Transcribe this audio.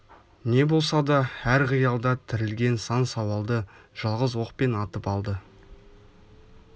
не болса да әр қиялда тірілген сан сауалды жалғыз оқпен атып алды